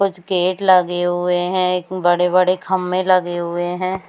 कुछ गेट लगे हुए है बड़े-बड़े खम्बे लगे हुए है।